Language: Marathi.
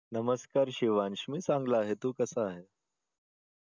नमस्कार शिवांश मी चांगला आहे तू कसा आहेस?